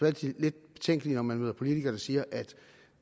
altid lidt betænkeligt når man møder politikere der siger at